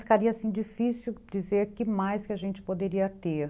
Ficaria difícil dizer que mais que a gente poderia ter.